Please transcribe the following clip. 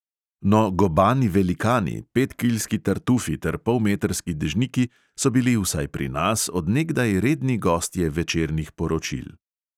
No, gobani velikani, petkilski tartufi ter polmetrski dežniki so bili vsaj pri nas od nekdaj redni gostje večernih poročil.